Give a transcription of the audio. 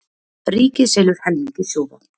Ríkið selur helming í Sjóvá